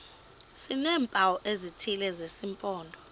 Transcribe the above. sineempawu ezithile zesimpondo